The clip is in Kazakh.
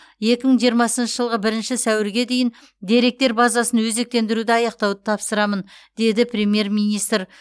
екі мың жиырмасыншы жылғы бірінші сәуірге дейін деректер базасын өзектендіруді аяқтауды тапсырамын деді премьер министр